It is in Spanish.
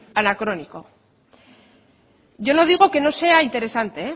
anacrónico yo no digo que no sea interesante